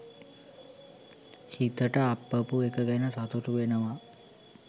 හිතට අප්පපු එක ගැන සතුටු වෙනවා